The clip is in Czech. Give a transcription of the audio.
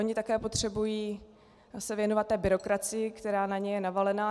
Oni také potřebují se věnovat té byrokracii, která na ně je navalena.